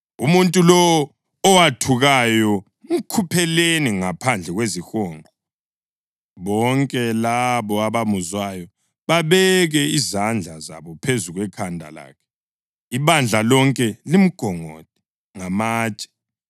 “Umuntu lowo owathukayo mkhupheleni ngaphandle kwezihonqo. Bonke labo abamuzwayo babeke izandla zabo phezu kwekhanda lakhe, ibandla lonke limgongode ngamatshe.